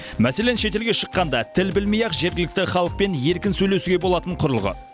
мәселен шетелге шыққанда тіл білмей ақ жергілікті халықпен еркін сөйлесуге болатын құрылғы